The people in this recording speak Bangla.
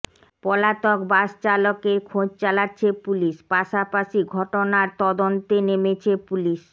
পলাতক বাস চালকের খোঁজ চালাচ্ছে পুলিশ পাশাপাশি ঘটনার তদন্তে নেমেছে পুলিশ